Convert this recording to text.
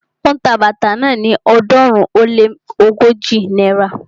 Ó ń ta bàtà náà ni ọ̀ọ́dúnrún ó lé ógójì náírà